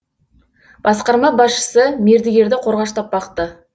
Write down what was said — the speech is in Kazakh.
басқарма басшысы мердігерді қорғаштап бақты